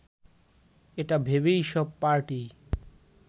এটা ভেবেই সব পার্টিই